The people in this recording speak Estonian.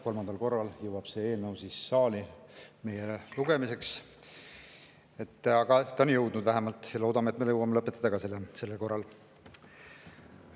Kolmandal korral jõuab see eelnõu meile saali lugemiseks, aga ta on siia jõudnud vähemalt ja loodame, et me jõuame selle ka sellel korral lõpetada.